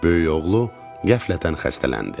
Böyük oğlu qəflətən xəstələndi.